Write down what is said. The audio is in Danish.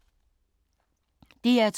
DR2